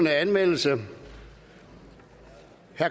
anmeldelse